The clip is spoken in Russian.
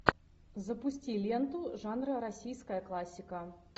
запусти ленту жанра российская классика